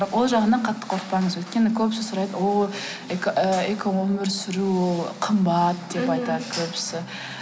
ол жағынан қатты қорықпаңыз өйткені көбісі сұрайды ооо ы экоөмір сүру ол қымбат деп айтады көбісі